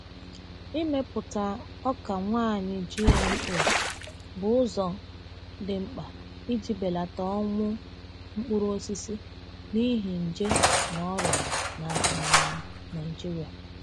Ịmepụta ọka nwaanyị GMO bụ ụzọ dị mkpa iji belata ọnwụ mkpụrụ osisi n’ihi nje na ọrịa na um Nigeria.